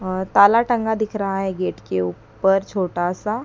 और ताला टंगा दिख रहा है गेट के ऊपर छोटा सा।